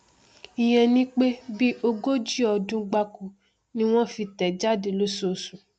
ìyẹn ni pé bí ogójì ọdún gbáko ni wọn fi tẹẹ jáde lóṣooṣù